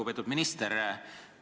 Lugupeetud minister!